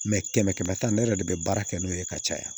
kɛmɛ kɛmɛ ne yɛrɛ de bɛ baara kɛ n'o ye ka caya